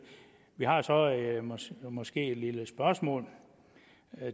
vi har måske et lille spørgsmål